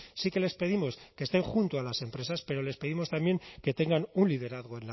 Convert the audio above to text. sí que les pedimos que estén junto a las empresas pero les pedimos también que tengan un liderazgo